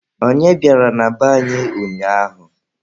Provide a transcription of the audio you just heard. Onye bịara na be anyị ụnyaahụ?